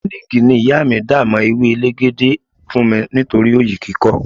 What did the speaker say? Miliki ni ìyá mi dà mó ewé elegede fún mi nítorí oyi kíkọ́.